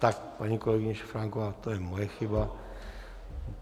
Tak paní kolegyně Šafránková, to je moje chyba.